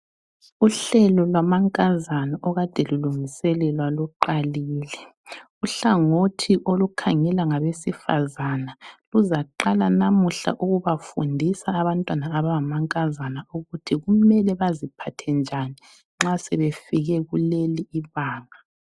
Uhlelo lwamankazana okade lulungiselelwa luqalile. Uhlangothi olukhangela ngabesifazana luzaqala namuhla ukubafundisa abantwana abangamankazana ukuthi kumele baziphathe njani nxa sebefike kuleli ibanga.